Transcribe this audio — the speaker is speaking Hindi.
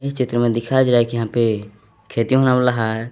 इस चित्र मे दिखाई दे रहा है कि यहां पे खेती होने वाला है।